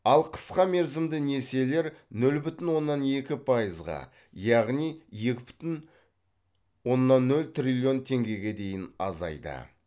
ал қысқа мерзімді несиелер нөл бүтін оннан екі пайызға яғни екі бүтін оннан нөл триллион теңгеге дейін азайды